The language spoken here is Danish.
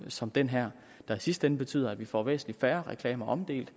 som den her der i sidste ende betyder at vi får væsentlig færre reklamer omdelt